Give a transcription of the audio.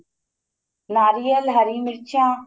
ਨਾਰੀਅਲ ਹਰੀ ਮੀਰਚਾ